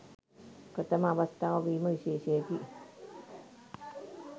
ප්‍රථම අවස්ථාව වීම විශේෂයකි